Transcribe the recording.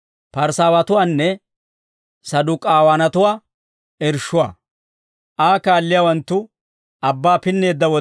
Aa kaalliyaawanttu abbaa pinneedda wode, k'umaa afanawaa dogeeddino.